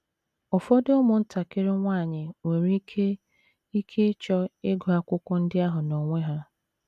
Ụfọdụ ụmụntakịrị nwanyị nwere ike ike ịchọ ịgụ akwụkwọ ndị ahụ n’onwe ha.